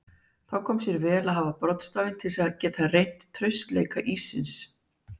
Þá kom sér vel að hafa broddstafinn til að geta reynt traustleika íssins.